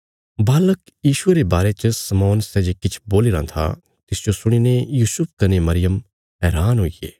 बालक यीशुये रे बारे च शमौन सै जे किछ बोलीराँ था तिसजो सुणीने यूसुफ कने मरियम हैरान हुईगे